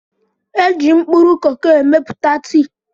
É jị mkpụrụ koko emepụta tii